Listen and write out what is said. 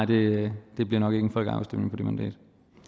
det bliver nok ikke en folkeafstemning på det mandat